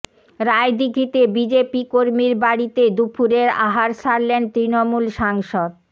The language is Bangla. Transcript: রায়দিঘিতে বিজেপি কর্মীর বাড়িতে দুপুরের আহার সারলেন তৃণমূল সাংসদ